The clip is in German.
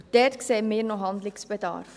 Dort sehen wir noch Handlungsbedarf.